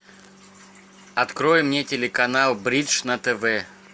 открой мне телеканал бридж на тв